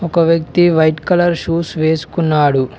ఒక వ్యక్తి white colour shoes వేసుకున్నాడు.